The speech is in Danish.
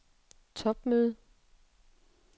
topmøde